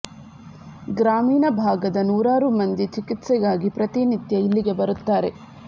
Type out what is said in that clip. ಗ್ರಾಮೀಣ ಭಾಗದ ನೂರಾರು ಮಂದಿ ಚಿಕಿತ್ಸೆಗಾಗಿ ಪ್ರತಿ ನಿತ್ಯ ಇಲ್ಲಿಗೆ ಬರುತ್ತಾರೆ